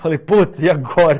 Falei, pô, e agora?